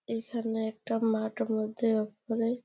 এখানে একটা মাঠ মধ্যে ওপরে।